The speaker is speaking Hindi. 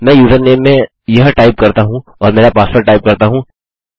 मैं यूजरनेम में यह टाइप करता हूँ और मेरा पासवर्ड टाइप करता हूँ